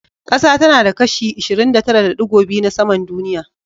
Ƙasa tana da kashi 29.2% na saman duniya.